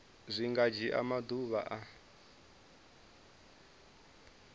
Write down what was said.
zwi nga dzhia maḓuvha a